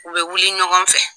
U bɛ wuli ɲɔgɔn fɛ.